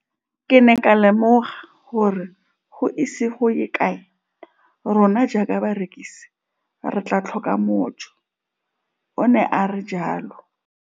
Ke ne ka lemoga gore go ise go ye kae rona jaaka barekise re tla tlhoka mojo, o ne a re jalo.